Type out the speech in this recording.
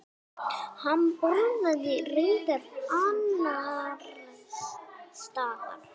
Hann borðaði reyndar annars staðar.